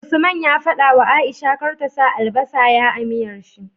Usman ya fadawa aisha kar ta sa albasa ya a miyar shi